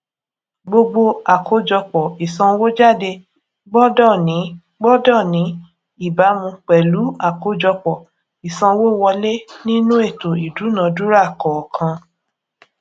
gbogbo àkójọpò ìsànwójáde gbódò ní gbódò ní ìbámu pèlú àkójọpò ìsanwówọlé nínú ètò ìdúnadúrà kọọkan